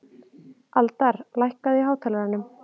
Aldar, lækkaðu í hátalaranum.